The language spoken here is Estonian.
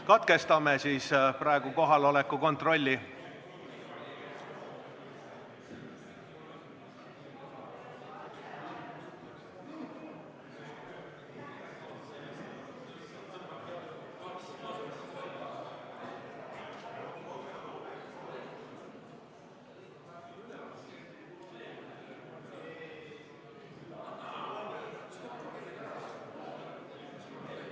Katkestame praegu kohaloleku kontrolli.